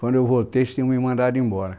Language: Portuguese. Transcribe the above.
Quando eu voltei, eles tinham me mandado embora.